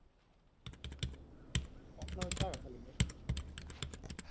Pálrún, opnaðu dagatalið mitt.